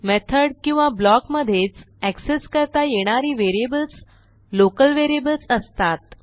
method किंवा block मधेच access करता येणारी व्हेरिएबल्स लोकल व्हेरिएबल्स असतात